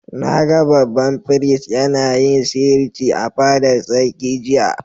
Na gan babban firist yana yin sihirci a'fadar sarki jiya.